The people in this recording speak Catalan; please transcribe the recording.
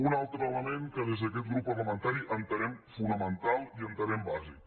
un altre element que des d’aquest grup parlamentari entenem fonamental i entenem bàsic